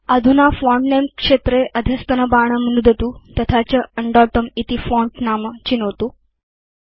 अधुना फोंट नमे क्षेत्रे अधस्तनबाणं नुदतु तथा च उण्डोतुं इति फोंट नाम चिनोतु